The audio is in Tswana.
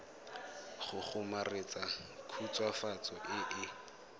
go kgomaretsa khutswafatso e e